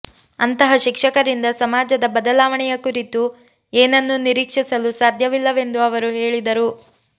ಅಂತಹ ಶಿಕ್ಷಕರಿಂದ ಸಮಾಜದ ಬದಲಾವಣೆಯ ಕುರಿತು ಏನನ್ನೂ ನಿರೀಕ್ಷಿಸಲು ಸಾಧ್ಯವಿಲ್ಲವೆಂದು ಅವರು ಹೇಳಿದರು